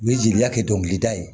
U ye jeliya kɛ dɔnkilida ye